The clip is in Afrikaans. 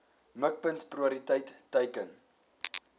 mikpunt prioriteit teiken